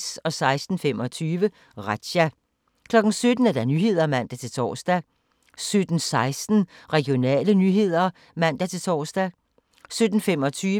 16:25: Razzia 17:00: Nyhederne (man-tor) 17:16: Regionale nyheder (man-tor)